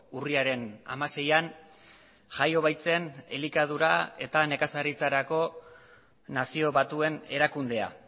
urriaren hamaseian jaio baitzen elikadura eta nekazaritzarako nazio batuen erakundea